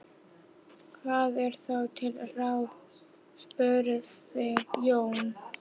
Hvað er þá til ráða? spurði Jón.